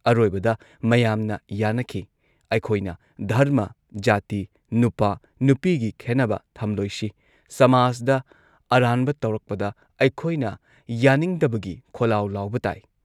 ꯑꯔꯣꯏꯕꯗ ꯃꯌꯥꯝꯅ ꯌꯥꯅꯈꯤ ꯑꯩꯈꯣꯏꯅ ꯙꯔꯃ, ꯖꯥꯇꯤ, ꯅꯨꯄꯥ ꯅꯨꯄꯤꯒꯤ ꯈꯦꯟꯅꯕ ꯊꯝꯂꯣꯏꯁꯤ ꯁꯃꯥꯖꯗ ꯑꯔꯥꯟꯕ ꯇꯧꯔꯛꯄꯗ ꯑꯩꯈꯣꯏꯅ ꯌꯥꯅꯤꯡꯗꯕꯒꯤ ꯈꯣꯜꯂꯥꯎ ꯂꯥꯎꯕ ꯇꯥꯢ